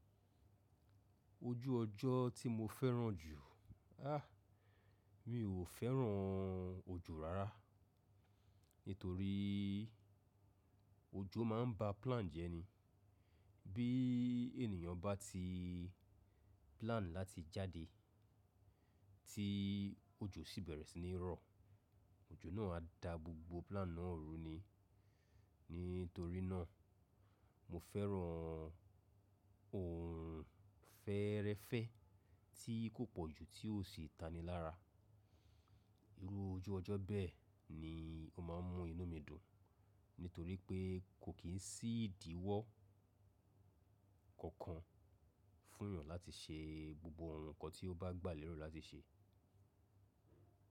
Ojú ọjọ́ tí mo fẹ́ràn jù? Ah, mi ò fẹ́ràn òjò rárá. Nítorí òjò máa ń ba plan jẹ́ ni. Bí ènìyàn bá ti plan láti jáde tí òjò sì bẹ̀rẹ̀ sí ní rọ, òjò náà á da gbogbo plan náà runi. Nítorí náà mo fẹ́ràn òrun-féréfẹ́ tí kò pọ̀ jù tí ò sì tani lára. Irú ojú ọjọ́ bẹ́ẹ̀ ni ó máa ń mú inú mi dùn. Nítorí pé kò kín sí ìdíwọ́ fún èyàn láti ṣe gbogbo ǹkan tí ó bá gbà léro láti ṣe.